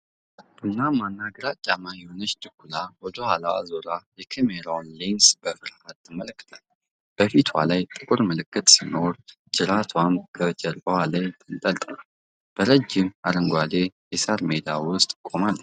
ቡናማና ግራጫማ የሆነችው ድኩላ ወደ ኋላዋ ዞራ የካሜራውን ሌንስ በፍርሃት ትመለከታለች። በፊቷ ላይ ጥቁር ምልክት ሲኖር፤ ጅራቷም በጀርባዋ ላይ ተንጠልጥሏል። በረጅም አረንጓዴ የሳር ሜዳ ውስጥ ቆማለች።